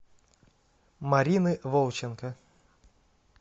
марины волченко